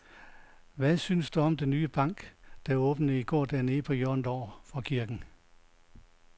Hvad synes du om den nye bank, der åbnede i går dernede på hjørnet over for kirken?